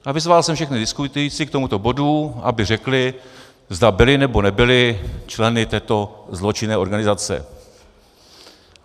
A vyzval jsem všechny diskutující k tomuto bodu, aby řekli, zda byli, nebo nebyli členy této zločinné organizace.